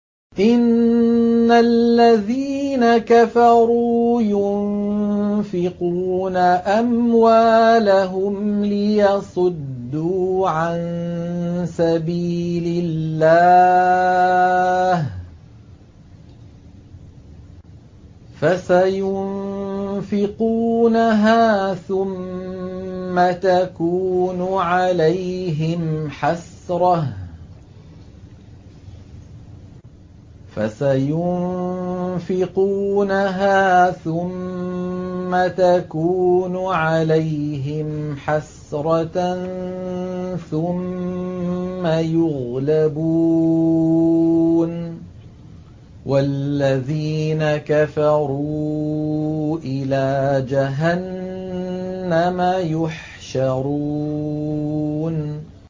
إِنَّ الَّذِينَ كَفَرُوا يُنفِقُونَ أَمْوَالَهُمْ لِيَصُدُّوا عَن سَبِيلِ اللَّهِ ۚ فَسَيُنفِقُونَهَا ثُمَّ تَكُونُ عَلَيْهِمْ حَسْرَةً ثُمَّ يُغْلَبُونَ ۗ وَالَّذِينَ كَفَرُوا إِلَىٰ جَهَنَّمَ يُحْشَرُونَ